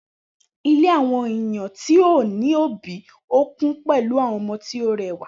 Ile àwọn eyan ti ọ ni obi ọ kun pele àwọn ọmọ to rẹwa